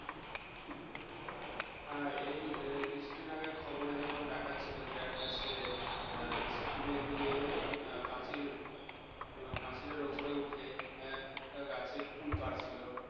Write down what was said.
হ্যাঁ এই কিছুদিন আগে খবরে যেমন দেখাচ্ছিলো যে একটা ছেলে school গিয়ে পাঁচিল~ পাঁচিলের উপরে উঠে একটা গাছে কুল পারছিল